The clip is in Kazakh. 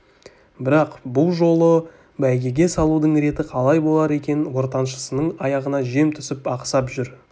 бірақ бұ жолы бәйгеге салудың реті қалай болар екен ортаншысының аяғына жем түсіп ақсап жүр